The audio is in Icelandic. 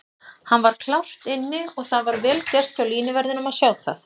Hann var klárt inni og það var vel gert hjá línuverðinum að sjá það.